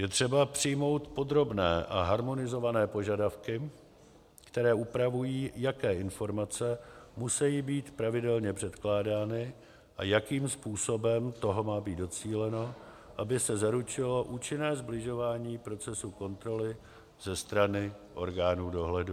Je třeba přijmout podrobné a harmonizované požadavky, které upravují, jaké informace musejí být pravidelně předkládány a jakým způsobem toho má být docíleno, aby se zaručilo účinné sbližování procesu kontroly ze strany orgánů dohledu.